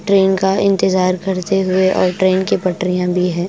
Train का इंतजार करते हुए और ट्रैन की पटरियां भी हैं।